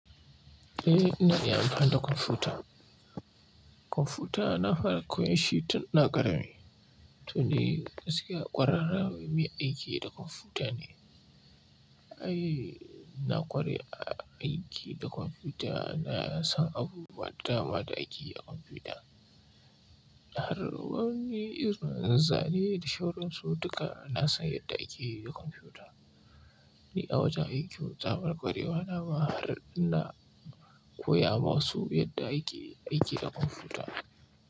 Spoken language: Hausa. Eh, ina iya amfani da kwamfuta. Kwamfuta na fara koyar shi tun na karami. To ni gaskiya ƙwararren mai aiki da kwamfuta ne. Ai na ƙware a aiki da kwamfuta, na san abubuwa dama da akeyi a kwamfuta. Har wani irin zane da sauran su duka na san yadda akeyi da kwamfuta. Ni a wajen aikin tsabar ƙwarewa na ma har ina koya ma wasu yadda akeyi aiki da kwamfuta.